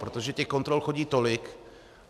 Protože těch kontrol chodí tolik.